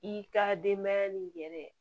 I ka denbaya ni yɛrɛ